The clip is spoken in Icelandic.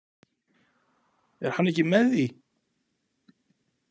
Er hann ekki með því?